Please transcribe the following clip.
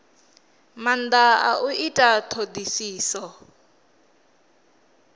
maanda a u ita thodisiso